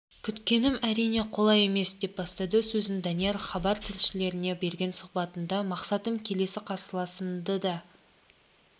күткенім әрине қола емес деп бастады сөзін данияр хабар тілшілеріне берген сұхбатында мақсатым келесі қарсыласымды да